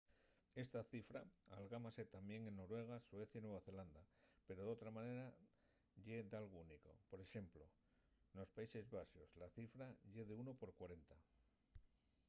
esta cifra algámase tamién en noruega suecia y nueva zelanda pero d’otra manera ye dalgo único p.ex. nos países baxos la cifra ye de unu por cuarenta